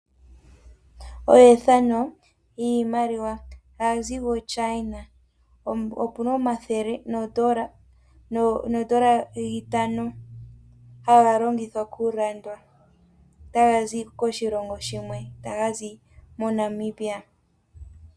Iimaliwa hayui zi ku china. Opuna omathele noo ndola dhi itano haga longithwa okulandwa haya zi koshilongo shimwe haya zi moNamibia.